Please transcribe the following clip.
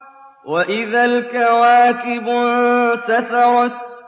وَإِذَا الْكَوَاكِبُ انتَثَرَتْ